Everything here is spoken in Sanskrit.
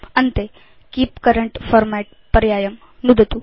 अन्ते कीप करेंट फॉर्मेट् पर्यायं नुदतु